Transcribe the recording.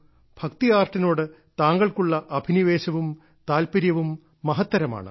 ഭക്തി ആർട്ടിനോട് താങ്കൾക്കുള്ള അഭിനിവേശവും താൽപര്യവും മഹത്തരമാണ്